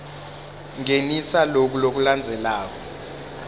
ngenisa loku lokulandzelako